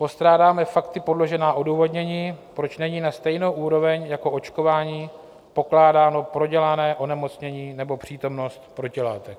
Postrádáme fakty podložená odůvodnění, proč není na stejnou úroveň jako očkování pokládáno prodělané onemocnění nebo přítomnost protilátek.